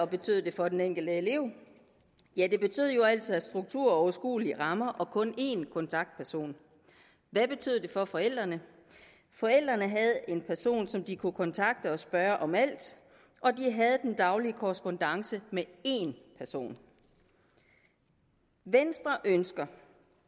betød det for den enkelte elev ja det betød jo altså struktur overskuelige rammer og kun én kontaktperson hvad betød det for forældrene forældrene havde en person som de kunne kontakte og spørge om alt og de havde den daglige korrespondance med én person venstre ønsker